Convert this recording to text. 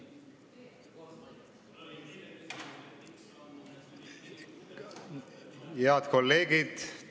Head kolleegid!